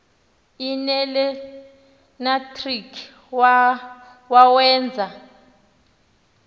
l nelenatriki wawenza